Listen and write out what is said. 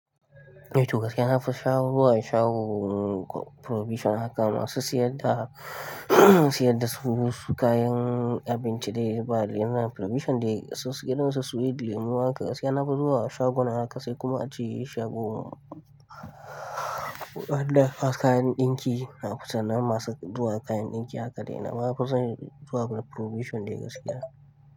Eh to gaskiya na fi shawo- zuwa shagon provision haka masu siyar da, siyar da su kayan abinci dai ba, yana provision dai, su irinsu sweet, lemu haka. Gaskiya na fi zuwa shagon haka, sai kuma ace shagon na kayan ɗinki, na fi san na masu zuwa kayan ɗinki haka dai na ma fi son zuwa provision dai gaskiya.